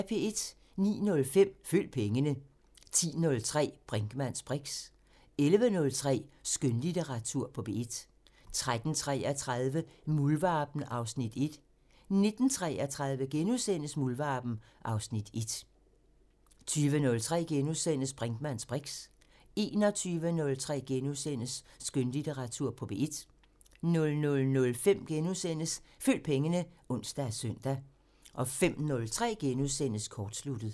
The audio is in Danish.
09:05: Følg pengene 10:03: Brinkmanns briks 11:03: Skønlitteratur på P1 13:33: Muldvarpen (Afs. 1) 19:33: Muldvarpen (Afs. 1)* 20:03: Brinkmanns briks * 21:03: Skønlitteratur på P1 * 00:05: Følg pengene *(ons og søn) 05:03: Kortsluttet *